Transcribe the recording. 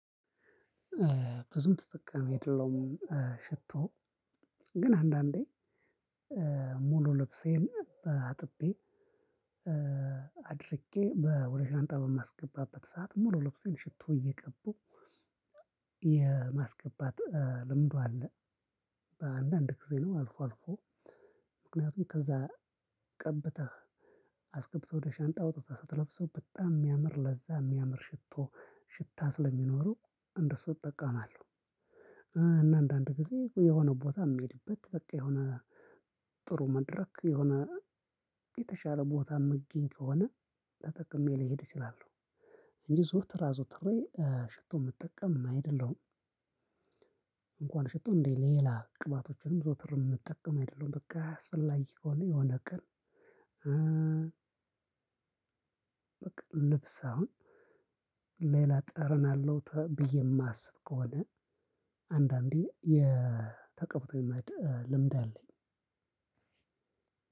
ብዙም ተጠቃሚ አይደለውም። ሽቶ ግን አንዳንዴ ሙሉ ልብሴን አጥቤ አድርቄ ወደ ሻንጣ በማስገባበት ሰዓት ሙሉ ልብሴን ሽቶ እየቀቡ የማስገባት ልምዱ አለ። በአንዳንድ ጊዜ ነው አልፎ አልፎ። ምክንያቱም ከዛ ቀብተህ አስገብተህ ወደ ሻንጣ አውጥተህ ስትለብሰው በጣም የሚያምር ለዛ የሚያምር ሽቶ ሽታ ስለሚኖረው እንደሱ እጠቀማለሁ። እና አንዳንድ ጊዜ የሆነ ቦታ የምሄድበት በቃ የሆነ ጥሩ መድረክ የሆነ የተሻለ ቦታ ምገኝ ከሆነ ተጠቅሜ ሊሄድ እችላለሁ። እንጂ ዘወትር አዘውትሬ ሽቶ ምጠቀም አይደለሁም። እንኳን ሽቶ እንዴ ሌላ ቅባቶችንም ዘወትር የምጠቀም አይደለሁም በቃ አስፈላጊ ከሆነ የሆነ ቀን። በቃ ልብስ አሁን ሌላ ጠረን አለው ብዬ የማስብ ከሆነ አንዳንዴ የተቀብቶ የማደር ልምድ አለኝ።